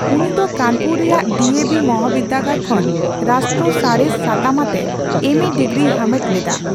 ᱩᱱᱤ ᱫᱚ ᱠᱟᱱᱯᱩᱨ ᱨᱮᱭᱟᱜ ᱰᱤᱹᱮᱹ ᱵᱷᱤ ᱢᱚᱦᱟᱵᱤᱨᱫᱟᱹᱜᱟᱹᱲ ᱠᱷᱚᱱ ᱨᱟᱥᱴᱨᱚ ᱥᱟᱬᱮᱥ ᱥᱟᱛᱟᱢ ᱟᱛᱮ ᱮᱹ ᱢᱮ ᱰᱤᱜᱽᱨᱤᱭ ᱦᱟᱢᱮᱴ ᱞᱮᱫᱟ ᱾